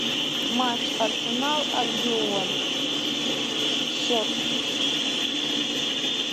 матч арсенал альбион счет